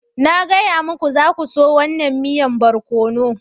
Na gaya muku, za ku so wannan miyan barkono.